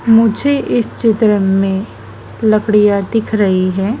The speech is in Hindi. मुझे इस चित्र मे लकड़ियां दिख रही है।